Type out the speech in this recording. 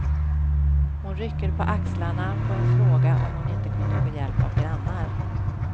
Hon rycker på axlarna på en fråga om hon inte kunde få hjälp av grannar.